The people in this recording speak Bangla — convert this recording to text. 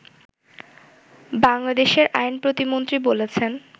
বাংলাদেশের আইন প্রতিমন্ত্রী বলেছেন